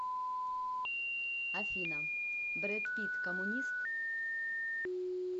афина брэд питт коммунист